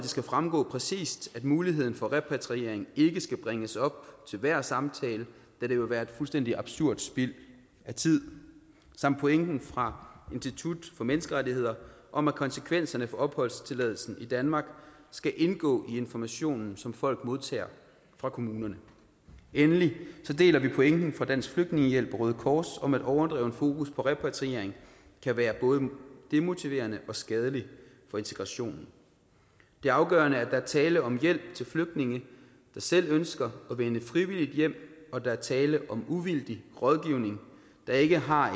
skal fremgå præcis at muligheden for repatriering ikke skal bringes op til hver samtale da det vil være fuldstændig absurd spild af tid samt pointen fra institut for menneskerettigheder om at konsekvensen for opholdstilladelsen i danmark skal indgå i informationen som folk modtager fra kommunerne endelig deler vi pointen fra dansk flygtningehjælp og røde kors om at overdreven fokus på repatriering kan være både demotiverende og skadelig for integrationen det er afgørende at der er tale om hjælp til flygtninge der selv ønsker at vende frivilligt hjem og at der er tale om uvildig rådgivning der ikke har